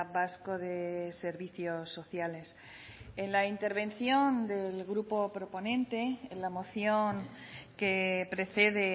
vasco de servicios sociales en la intervención del grupo proponente en la moción que precede